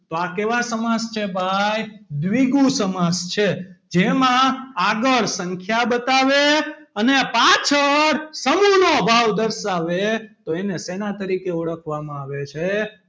તો આ કેવા સમાસ છે ભાઈ દ્વિગુ સમાસ છે જેમાં આગળ સંખ્યા બતાવે અને પાછળ સમૂહ નો ભાવ દર્શાવે તો એને શેના તરીકે ઓળખવામાં આવે છે?